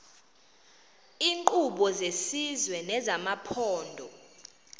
iinkqubo zesizwe nezamaphondo